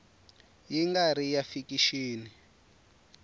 ya nga ri ya fikixini